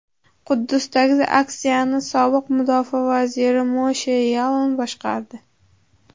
Quddusdagi aksiyani sobiq mudofaa vaziri Moshe Yaalon boshqardi.